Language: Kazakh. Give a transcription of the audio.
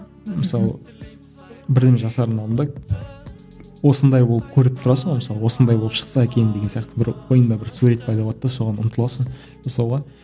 мысалы бірдеме жасардың алдында осындай болып көріп тұрасың ғой мысалы осындай болып шықса екен деген сияқты бір ойыңда бір сурет пайда болады да соған ұмтыласың жасауға